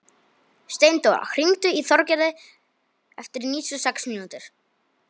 Steindóra, hringdu í Þorgerði eftir níutíu og sex mínútur.